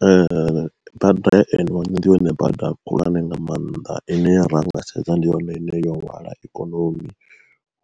Ee bada ya N one ndi yone bada khulwane nga maanḓa ine ra nga sedza ndi yone ine yo hwala ikonomi,